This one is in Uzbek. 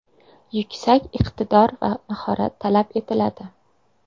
Yuksak iqtidor va mahorat talab etiladi.